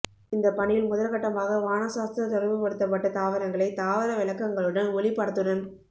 இந்தப் பணியில் முதற்கட்டமாக வாணசாஸ்திர தொடர்புபடுத்தப்பட்ட தாவரங்களை தாவர விளக்கங்களுடன் ஒளிப்படத்துடன்